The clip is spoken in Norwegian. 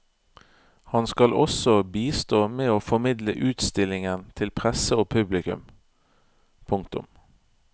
Han skal også bistå med å formidle utstillingen til presse og publikum. punktum